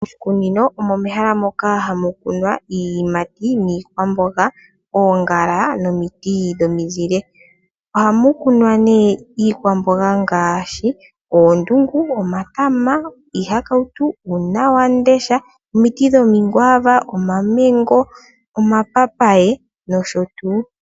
Moshikunino omo mehala moka hamu kunwa iiyimati niikwamboga, oongala nomiti dhomizile. Ohamu kunwa iikwamboga ngaashi oondungu, oonyanga, omatama, uuna wandesha, omiti dhomi kwaava, omamengo, omapapaye nosho tuu.